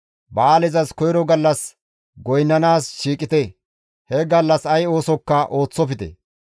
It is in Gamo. Ba7aalezas koyro gallas goynnanaas shiiqite; he gallas ay oosokka ooththofte.